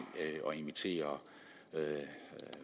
at invitere